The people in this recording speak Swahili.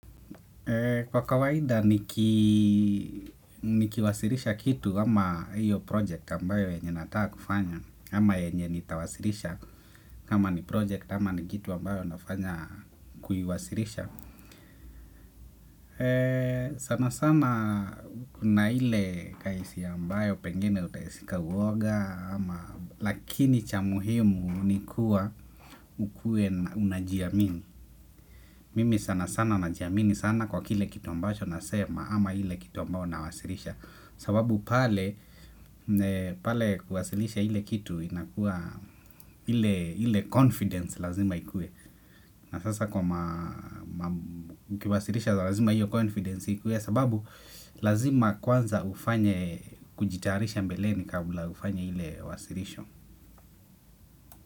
Kwa kawaida nikiwasilisha kitu ama hiyo project ambayo yenye nataka kufanya ama yenye nitawasilisha kama ni project ama ni kitu ambayo nafanya kuiwasilisha. Sana sana kuna ile kaisi ambayo pengene utaisika uwoga. Lakini cha muhimu ni kuwa ukue unajiamini. Mimi sana sana najiamini sana kwa kile kitu ambacho nasema ama ile kitu ambao na wasilisha sababu pale kwasilisha ile kitu inakuwa ile confidence lazima ikuwe na sasa kwa ukiwasilisha lazima hiyo confidence ikuwe sababu lazima kwanza ufanye kujitayarisha mbeleni kabla ufanye ile wasilisho.